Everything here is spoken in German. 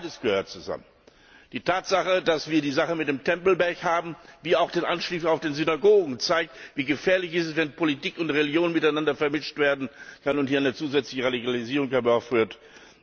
Beides gehört zusammen. Die Tatsache, dass wir die Sache mit dem Tempelberg haben, wie auch der Anschlag auf die Synagogen zeigt, wie gefährlich es ist, wenn Politik und Religion miteinander vermischt werden und hier eine zusätzliche Radikalisierung herbeigeführt wird.